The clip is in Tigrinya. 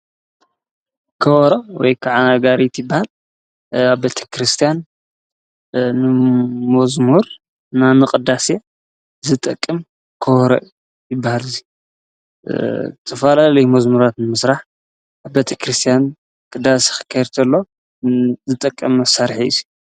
ከወሮ ወይ ከዓና ጋሪ ትባል ኣብ ቤተ ክርስቲያን ንሞዝሙር ናምቕዳስ ዝጠቅም ክወሮ ይባል ዙይ ተፋላ ለይመዝሙራት ምሥራሕ ኣብ ቤቲ ክርስቲያን ቅዳስኺከይርተሎ ዝጠቀም መሣርሐ እዩ።